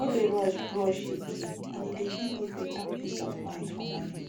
no dey rush brush again and e dey give me better peace of mind for morning